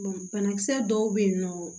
banakisɛ dɔw bɛ yen nɔ